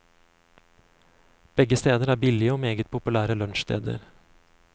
Begge steder er billige og meget populære lunsjsteder.